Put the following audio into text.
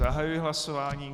Zahajuji hlasování.